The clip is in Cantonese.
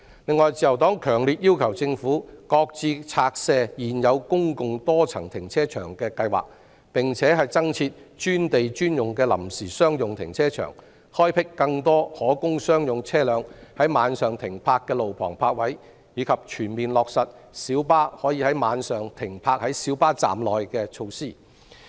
此外，自由黨強烈要求政府擱置拆卸現有公共多層停車場的計劃，增設專地專用的臨時商用停車場，開闢更多可供商用車輛於晚上停泊的路旁泊位，以及全面落實小巴可於晚上停泊在小巴站內等措施。